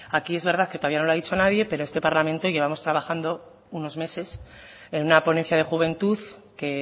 aquí es verdad que todavía no lo ha dicho nadie pero en este parlamento llevamos trabajando unos meses en una ponencia de juventud que